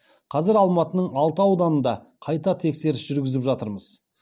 қазір алматының алты ауданында қайта тексеріс жүргізіп жатырмыз